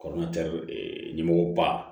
ɲɛmɔgɔ ba